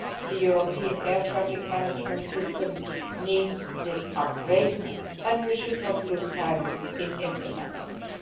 The European air traffic management system needs this upgrade, and we should not waste time in implementing it.